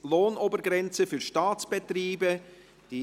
«Lohnobergrenze für Staatsbetriebe» .